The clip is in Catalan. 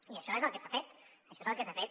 i això és el que s’ha fet això és el que s’ha fet